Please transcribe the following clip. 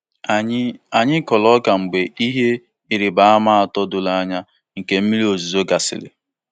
Anyị Anyị kụrụ ọka mgbe ihe ịrịba ama atọ doro anya nke mmiri ozuzo gasịrị.